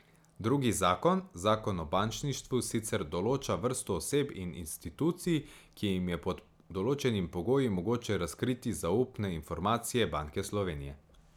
Drugi zakon, zakon o bančništvu, sicer določa vrsto oseb in institucij, ki jim je pod določenimi pogoji mogoče razkriti zaupne informacije Banke Slovenije.